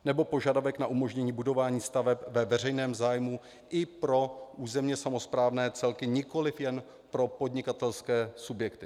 Nebo požadavek na umožnění budování staveb ve veřejném zájmu i pro územně samosprávné celky, nikoliv jen pro podnikatelské subjekty.